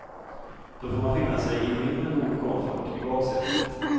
Då får man finna sig i mindre god komfort i baksätet.